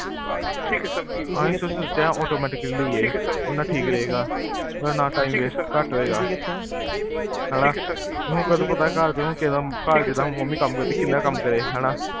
ਅਸੀਂ ਸੋਚਿਆ automatically ਏ, ਓਦੇ ਨਾਲ ਠੀਕ ਰਹੇਗਾ ਨਾ time waste ਘਟ ਹੋਏਗਾ ਹੈਨਾ? ਏਨੁ ਕਿਵੇਂ ਪਤਾ ਘਰ ਜਿਦਾ ਹੋਊ mummy ਕਿੰਨਾ ਕਾਮ ਕਰੇ ਹੈਨਾ